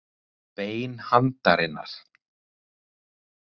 Bein handarinnar.